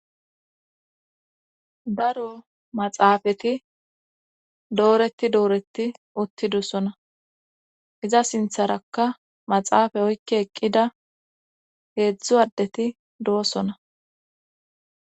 daro maxaafati dooreti dooreti uttidosona iza sintharakka maxaafa oykke eqqida heedzdzu addeti do7osona